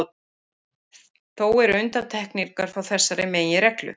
Þó eru undantekningar frá þessari meginreglu.